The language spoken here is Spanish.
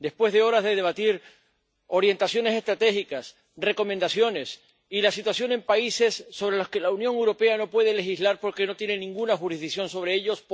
Después de horas de debatir orientaciones estratégicas, recomendaciones y la situación en países sobre los que la Unión Europea no puede legislar porque no tiene ninguna jurisdicción sobre ellos...